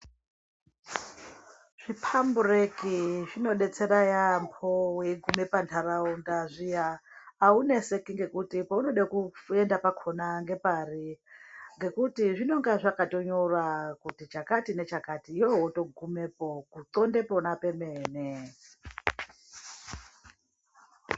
Zviphambureki zvinodetsera yaamho weigume panharaunda zviya auneseki ngekuti paunode kuenda pakhona ngepari ngekuti zvinonga zvakatonyora kuti chakati nechakati iwewe wotogumepo kundxonda pona pemene.